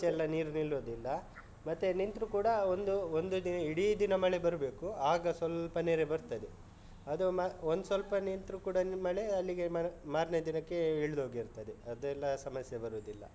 ಹೆಚ್ಚೆಲ್ಲ ನೀರು ನಿಲ್ಲುದಿಲ್ಲ ಮತ್ತೆ ನಿಂತ್ರು ಕೂಡ ಒಂದು ಒಂದು ಇಡೀ ದಿನ ಮಳೆ ಬರ್ಬೇಕು ಆಗ ಸ್ವಲ್ಪ ನೆರೆ ಬರ್ತದೆ. ಅದು ಒಂದ್ ಸ್ವಲ್ಪ ನಿಂತ್ರು ಕೂಡ ಮಳೆ ಅಲ್ಲಿಗೆ ಮಾರ್ನೇ ದಿನಕ್ಕೆ ಇಳ್ದೊಗಿರ್ತದೆ ಅದೆಲ್ಲ ಸಮಸ್ಯೆ ಬರುದಿಲ್ಲ.